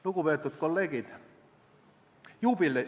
Lugupeetud kolleegid!